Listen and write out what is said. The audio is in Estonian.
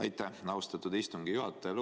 Aitäh, austatud istungi juhataja!